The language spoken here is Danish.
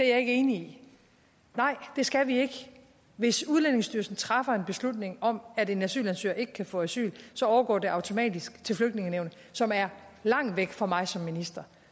er enig i det nej det skal vi ikke hvis udlændingestyrelsen træffer en beslutning om at en asylansøger ikke kan få asyl overgår det automatisk til flygtningenævnet som er langt væk fra mig som minister